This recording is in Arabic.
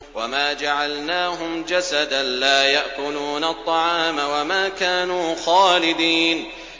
وَمَا جَعَلْنَاهُمْ جَسَدًا لَّا يَأْكُلُونَ الطَّعَامَ وَمَا كَانُوا خَالِدِينَ